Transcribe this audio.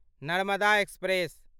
Narmada express